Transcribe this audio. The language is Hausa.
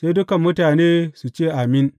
Sai dukan mutane su ce, Amin!